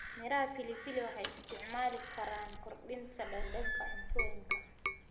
Miraha pilipili waxay isticmaali karaan kordhinta dhadhanka cuntooyinka.